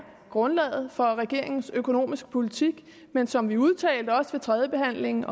grundlaget for regeringens økonomiske politik men som vi udtalte også ved tredjebehandlingen